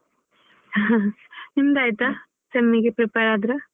ನಿಮ್ದ್ ಆಯ್ತಾ sem ಗೆ prepare ಆದ್ರ.